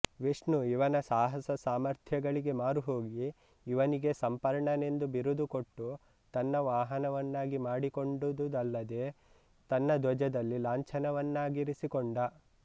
ವಿಷ್ಣು ಇವನ ಸಾಹಸ ಸಾಮರ್ಥ್ಯಗಳಿಗೆ ಮಾರುಹೋಗಿ ಇವನಿಗೆ ಸಂಪರ್ಣನೆಂದು ಬಿರುದು ಕೊಟ್ಟು ತನ್ನ ವಾಹನವನ್ನಾಗಿ ಮಾಡಿಕೊಂಡುದಲ್ಲದೇ ತನ್ನ ಧ್ವಜದಲ್ಲಿ ಲಾಂಛನವನ್ನಾಗಿರಿಸಿಕೊಂಡ